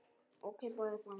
og keipaði upp að landi.